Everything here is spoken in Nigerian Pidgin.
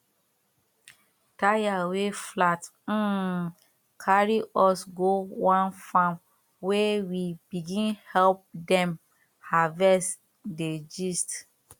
tyre wey flat um carry us go one farm where we begin help dem harvest dey gist